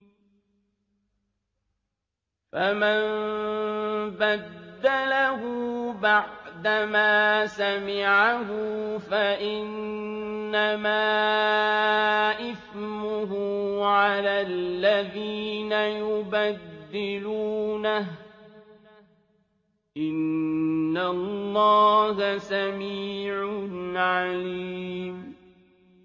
فَمَن بَدَّلَهُ بَعْدَمَا سَمِعَهُ فَإِنَّمَا إِثْمُهُ عَلَى الَّذِينَ يُبَدِّلُونَهُ ۚ إِنَّ اللَّهَ سَمِيعٌ عَلِيمٌ